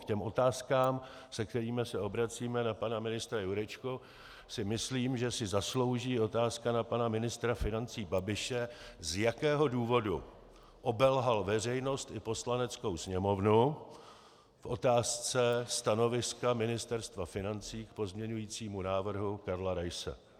K těm otázkám, se kterými se obracíme na pana ministra Jurečku, si myslím, že si zaslouží otázka na pana ministra financí Babiše, z jakého důvodu obelhal veřejnost i Poslaneckou sněmovnu v otázce stanoviska Ministerstva financí k pozměňovacímu návrhu Karla Raise.